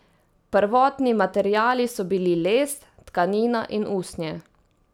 Prvotni materiali so bili les, tkanina in usnje.